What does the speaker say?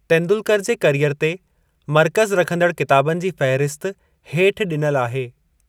तेंदुलकर जे करियर ते मर्कज़ रखंदड़ किताबनि जी फहिरिसत हेठ ॾिनल आहे।